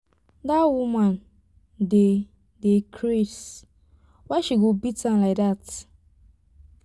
that woman dey dey craze why she go dey beat am like dat.